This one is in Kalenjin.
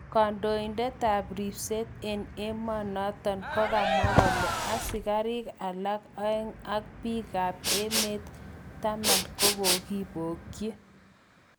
Kandoinatet ab repset eng emonoton kokamwa kole asikarik alak aeng ak peek kap emet taman kokokibokyi